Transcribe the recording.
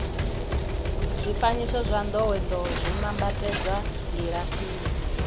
zwifanyiso zwa ndowendowe zwo nambatsedzwa kilasini